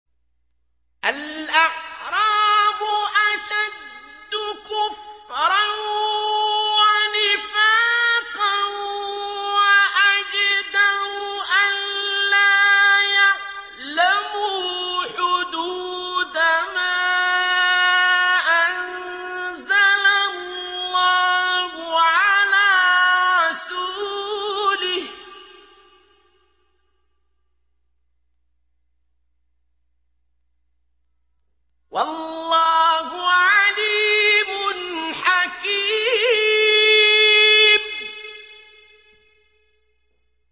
الْأَعْرَابُ أَشَدُّ كُفْرًا وَنِفَاقًا وَأَجْدَرُ أَلَّا يَعْلَمُوا حُدُودَ مَا أَنزَلَ اللَّهُ عَلَىٰ رَسُولِهِ ۗ وَاللَّهُ عَلِيمٌ حَكِيمٌ